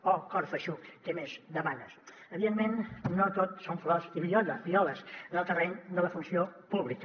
oh cor feixuc què més demanes evidentment no tot són flors i violes en el terreny de la funció pública